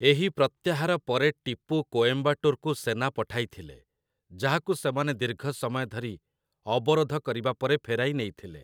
ଏହି ପ୍ରତ୍ୟାହାର ପରେ ଟିପୁ କୋଏମ୍ବାଟୁରକୁ ସେନା ପଠାଇଥିଲେ, ଯାହାକୁ ସେମାନେ ଦୀର୍ଘ ସମୟ ଧରି ଅବରୋଧ କରିବା ପରେ ଫେରାଇ ନେଇଥିଲେ ।